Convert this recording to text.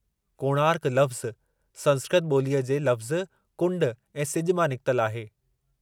'कोणार्क' लफ़्ज़ु संस्क्रत बो॒लीअ जे लफ़्ज़ कुंड ऐं सिजु मां निकितलु आहे।